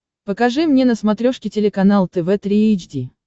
покажи мне на смотрешке телеканал тв три эйч ди